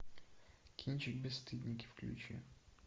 кинчик бесстыдники включи